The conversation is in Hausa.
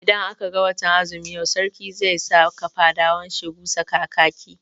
Idan aka ga watan azumi yau, Sarki zai saka fadawan shi busa kakaki.